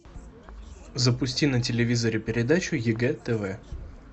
запусти на телевизоре передачу егэ тв